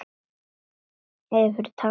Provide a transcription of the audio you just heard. Hefurðu talað við lækni?